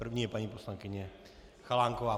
První je paní poslankyně Chalánková.